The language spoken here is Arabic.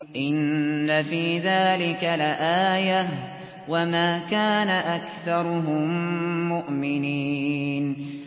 إِنَّ فِي ذَٰلِكَ لَآيَةً ۖ وَمَا كَانَ أَكْثَرُهُم مُّؤْمِنِينَ